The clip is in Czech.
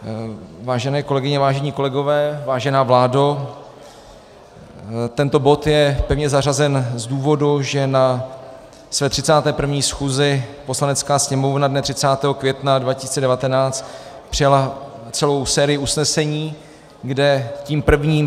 Vážené kolegyně, vážení kolegové, vážená vládo, tento bod je pevně zařazen z důvodu, že na své 31. schůzi Poslanecká sněmovna dne 30. května 2019 přijala celou sérii usnesení, kde tím prvním